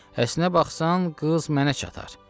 Əslinə baxsan, qız mənə çatar.